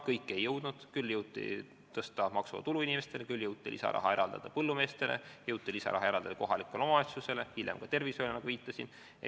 Kõike ei jõudnud, küll jõuti tõsta maksuvaba tulu, jõuti eraldada lisaraha põllumeestele, jõuti eraldada lisaraha kohalikule omavalitsusele, hiljem ka tervishoiule, nagu ma viitasin.